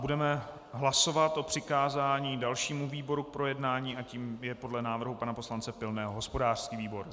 Budeme hlasovat o přikázání dalšímu výboru k projednání a tím je pode návrhu pana poslance Pilného hospodářský výbor.